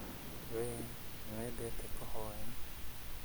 Wee, nĩwendete kũhoya